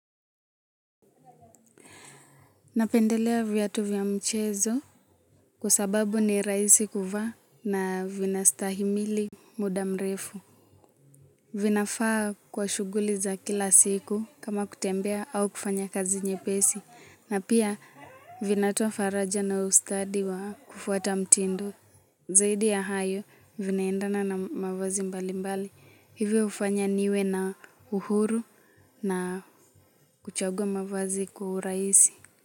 Napendelea viatu vya mchezo kwa sababu ni rahisi kuvaa na vina stahimili muda mrefu. Vinafaa kwa shughuli za kila siku kama kutembea au kufanya kazi nyepesi. Na pia vinatoa faraja na ustadi wa kufuata mtindo. Zaidi ya hayo vinaendana na mavazi mbali mbali. Hivyo hufanya niwe na uhuru na kuchagua mavazi kwa urahisi.